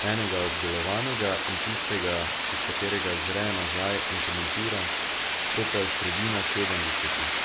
enega obdelovanega in tistega, iz katerega zre nazaj in komentira, to pa je sredina sedemdesetih.